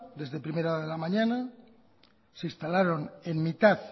desde primera hora de la mañana se instalaron en mitad